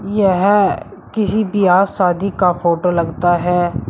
यह किसी बियाह शादी का फोटो लगता है।